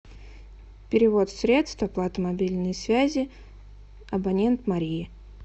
перевод средств оплата мобильной связи абонент мария